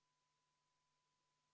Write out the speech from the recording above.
Palun võtta seisukoht ja hääletada!